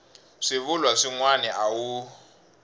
swivulwa swin wana a wu